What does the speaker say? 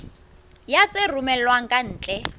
ya tse romellwang ka ntle